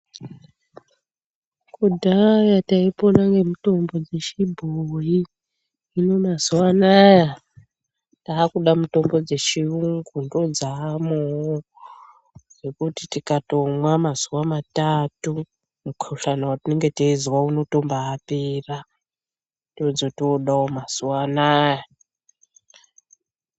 Kudhaya taipona ngemitombo dzechibhoyi, hino mazuva anaya takuda mitombo dzechiyungu, ndodzaamowo dzekuti tikatomwa mazuwa matatu mukhuhlani wetinenge teizwa unotombaatopera.